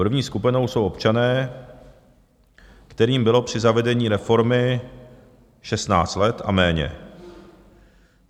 První skupinou jsou občané, kterým bylo při zavedení reformy 16 let a méně.